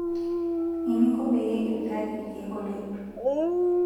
Eninko peyie ipikaki irkiek oloip.